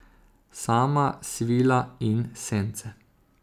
Sama svila in sence.